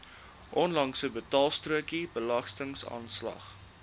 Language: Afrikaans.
onlangse betaalstrokie belastingaanslag